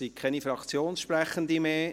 Es gibt keine Fraktionssprechenden mehr.